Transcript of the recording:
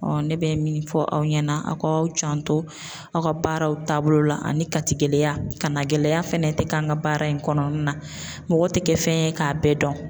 ne bɛ min fɔ aw ɲɛna aw ka aw janto aw ka baaraw taabolo la, ani kati gɛlɛya kaana gɛlɛya fana tɛ k'an ka baara in kɔnɔna na, mɔgɔ tɛ kɛ fɛn ye k'a bɛɛ dɔn.